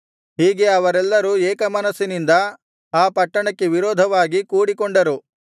ಹೀಗೆ ಅವರೆಲ್ಲರೂ ಏಕಮನಸ್ಸಿನಿಂದ ಆ ಪಟ್ಟಣಕ್ಕೆ ವಿರೋಧವಾಗಿ ಕೂಡಿಕೊಂಡರು